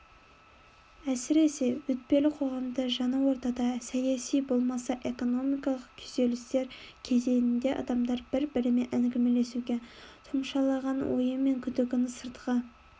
әсіресе өтпелі қоғамда жаңа ортада саяси болмаса экономикалық күйзелістер кезеңінде адамдар бір-бірімен әңгімелесуге тұмшалаған ойы мен күдігін сыртқа